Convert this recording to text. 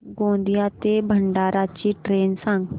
गोंदिया ते भंडारा ची ट्रेन सांग